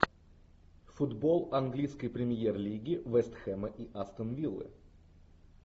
футбол английской премьер лиги вест хэма и астон виллы